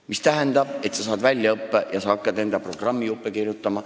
See tähendab, et sa saad väljaõppe ja hakkad enda programmijuppe kirjutama.